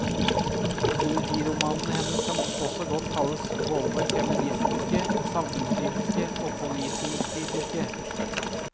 Politiromanene hennes kan også godt kalles både feministiske, samfunnskritiske og politikritiske.